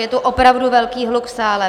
Je tu opravdu velký hluk v sále.